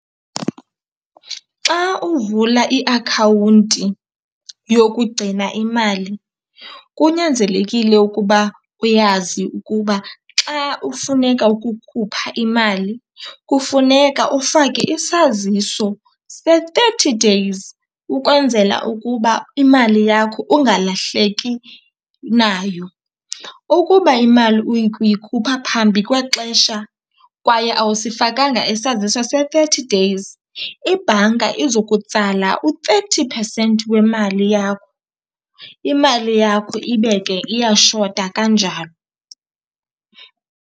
Xa uvula iakhawunti yokugcina imali kunyanzelekile ukuba uyazi ukuba xa ufuneka ukukhupha imali kufuneka ufake isaziso se-thirty days ukwenzela ukuba imali yakho ungalahleki nayo. Ukuba imali uyikhupha phambi kwexesha kwaye awusifakanga isaziso se-thirty days ibhanka izokutsala u-thirty percent wemali yakho. Imali yakho ibe ke iyashota kanjalo.